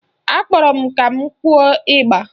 Akpọrọ m ka m kụọ ịgba